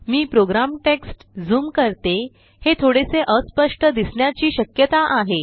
मी program text zoom करते हे थोडेसे अस्पष्ट दिसण्याची श्यकता आहे